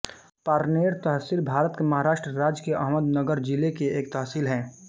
पारनेर तहसील भारत के महाराष्ट्र राज्य के अहमदनगर जिले की एक तहसील है